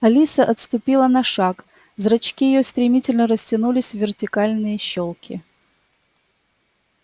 алиса отступила на шаг зрачки её стремительно растянулись в вертикальные щёлки